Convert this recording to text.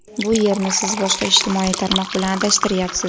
Bu yerni siz boshqa ijtimoiy tarmoq bilan adashtiryapsiz.